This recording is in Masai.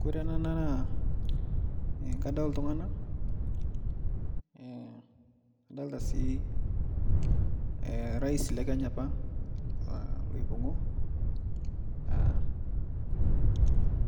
Kore ana naa kadol ltungana nadolita sii rais lekenya apa loipungo